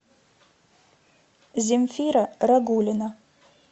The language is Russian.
земфира рагулина